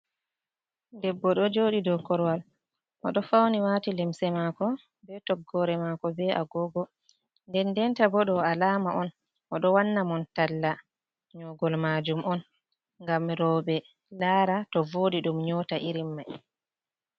Debbo do joɗi dou korowal oɗo fauni wati limse mako be toggore mako be agogo dendenta bo ɗo alama on oɗo wanna mon talla nyogol majum on ngam roɓe lara to vodi ɗum nyota irin mai.